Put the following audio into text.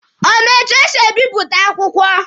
Ọ ma etu esi a bipụta akwụkwọ?